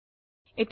ন click করুন